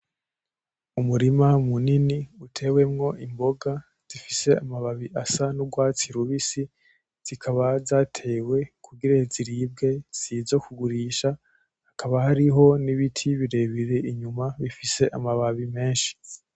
Umurima munini utewemo imboga zifise amababi asa n'urwatsi rubisi, zikaba zatewe kugira ziribwe sizokugurisha. Hakaba hariho n'ibiti birebire inyuma bifise amababi menshi.